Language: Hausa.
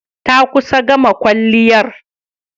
Ta kusa gama kwalliyar.